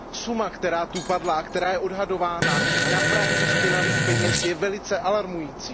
Suma, která zde padla a která je odhadována, týkající se praní špinavých peněz je velice alarmující.